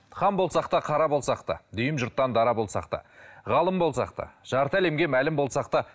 хан болсақ та қара болсақ та дүйім жұрттан дара болсақ та ғалым болсақ та жарты әлемге мәлім болсақ та